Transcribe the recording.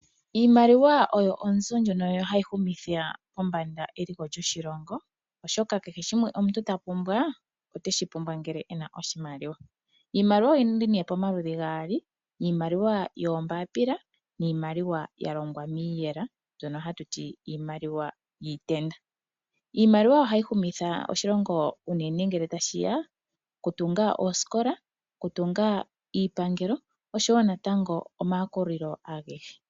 Iimaliwa oyo onzo ndjono hayi humitha kombanda eliko lyoshilongo , oshoka kehe shimwe omuntu tapumbwa, oteshi pumbwa ngele ena oshimaliwa. Iimaliwa oyili pamaludhi gaali ngaashi iimaliwa yoombaapila niimaliwa yalongwa miiyela mbyono hatu to iimaliwa yiitenda. Iimaliwa ohayi humitha oshilongo unene ngele tashi ya kokutunga oosikola, okutunga iipangelo oshowoo natango omayakulilo agehe.